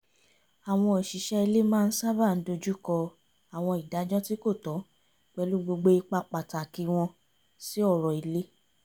àwọn òṣìṣẹ́ ilé maá ń sábà dojùkọ àwọn ìdájọ́ tí kò tọ́ pẹ̀lú gbogbo ipa pàtàkì wọn sí ọ̀rọ̀ ilé